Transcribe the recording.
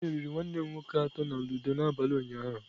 M meriri nwanne m nwoke atọ na ludo n'abalị ụnyaahụ.